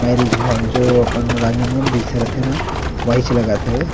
Marriage hall जो आपण राज हे ना वही चवत हे।